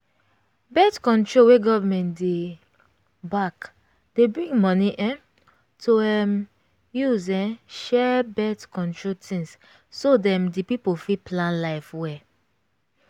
birth-control wey government dey back dey bring money um to um use um share birth-control things so dem the people fit plan life well